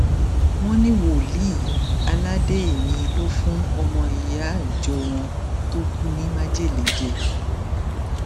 wọn ní wòlíì aládéèmi ló fún ọmọ ìyá ìjọ wọn tó kú ní májèlé jẹ